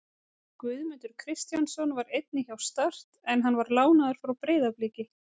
Guðmundur Kristjánsson var einnig hjá Start en hann var lánaður frá Breiðabliki.